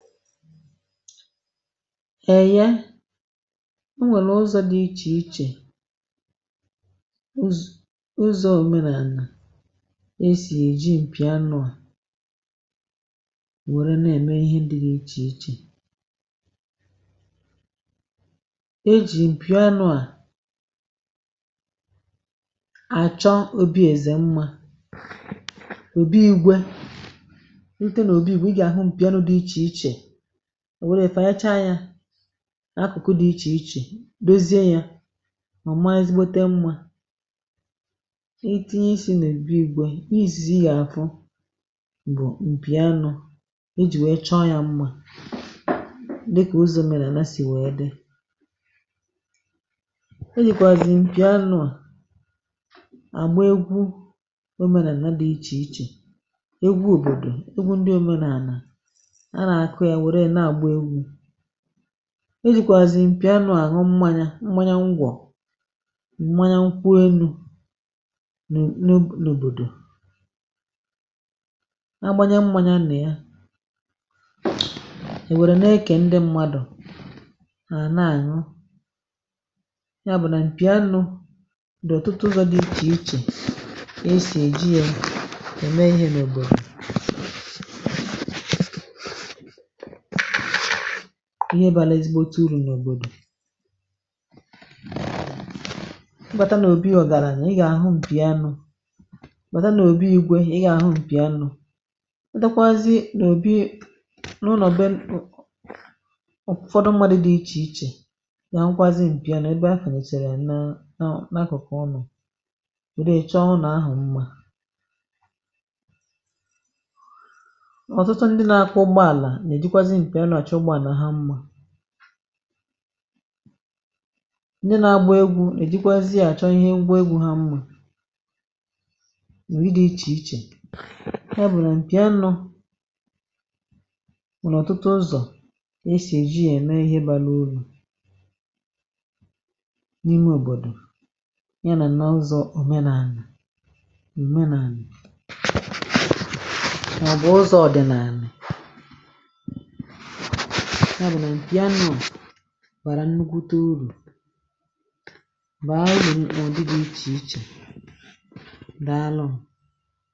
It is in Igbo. O nwere ụzọ, ee, ụzọ iche echiche dị iche na nke ọdịnala si eme ihe, nke dị ịtụnanya, site n’enyemaka nke, ị ma, enyemaka nke obi. A na-ekwu na ọ dị ka anwụrụ ọkụ, ọ dịkwa otu ahụ, a na-eji mpi anụ, dị iche iche iche echiche anụ ahụ nke ndị omenala. Ị gà-edozi anụ ahụ, ṅụọ mmanya, ṅụọ mmanya, ṅụọ mmanya, ee, ṅụọ mmanya ahụ, tinye mmanya ahụ, o were, ma mee ka ndị mmadụ ṅụọ ya. Enwere ọtụtụ ụzọ ị ga-esi, ị ma, che banyere ihe ga-erite uru n’obodo ị si bịa. Ọ bụrụ na ị nwere obi, ị ga-aga hụ mpi. Ọ dịkwa mma ịhụ ndị na-agba egwú, na-eji ya achọta ngwa egwú, ma ọ bụrụ na ị na-eche banyere ya, ọ bụ mpi.